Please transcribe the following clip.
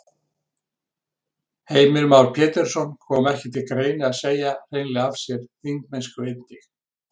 Heimir Már Pétursson: Kom ekki til greina að segja hreinlega af sér þingmennsku einnig?